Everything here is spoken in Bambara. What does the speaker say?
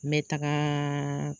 Mɛ taga